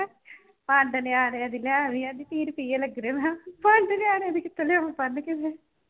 ਪੰਡ ਨਿਆਣਿਆਂ ਦੀ ਲਏ ਆਉਣੀ ਅੱਜ ਕੀ ਰੁਪਈਏ ਲੱਗਣੇ, ਮਖਾਂ ਪੰਡ ਨਿਆਣਿਆਂ ਦੀ ਕਿੱਥੋਂ ਲਿਆਵਾਂ ਬੰਨ ਕੇ ਮੈਂ।